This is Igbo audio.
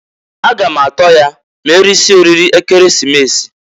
A ga m atọ ya m'erisie oriri Ekeresimesi.